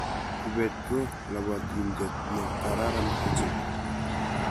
Kibet ko lobotinte ne kararan ochei.